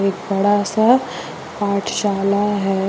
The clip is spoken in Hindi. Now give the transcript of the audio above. एक बड़ा सा पाठशाला है।